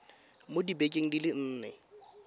mo dibekeng di le nne